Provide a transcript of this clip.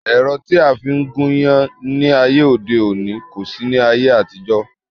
Ẹ̀rọ tí a fi ń gún iyán ní ayé òde òní kò sí ní ayé àtijọ́